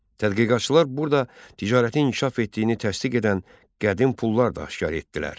Tədqiqatçılar burada ticarətin inkişaf etdiyini təsdiq edən qədim pullar da aşkar etdilər.